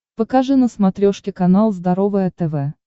покажи на смотрешке канал здоровое тв